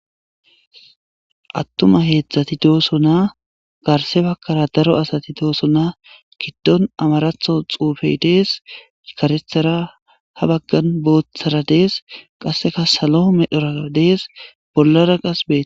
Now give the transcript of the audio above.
Atuma hezdati dosona garsse bagara daro asati dossona gidon amaraththo xufey des kareththara ha bagan boothara des qasekka salo medhora des bolara qas bet